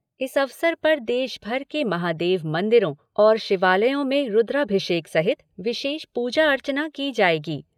इस अवसर पर देशभर के महादेव मंदिरों और शिवालयों में रूद्राभिषेक सहित विशेष पूजा अर्चना की जाएगी।